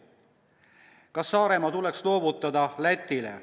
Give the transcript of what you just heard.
" Või: "Kas Saaremaa tuleks loovutada Lätile?